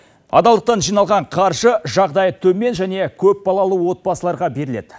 адалдықтан жиналған қаржы жағдайы төмен және көпбалалы отбасыларға беріледі